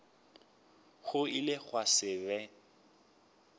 go ile gwa se be